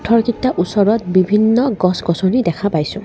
পাথৰকিটা ওচৰত বিভিন্ন গছ-গছনি দেখা পাইছোঁ।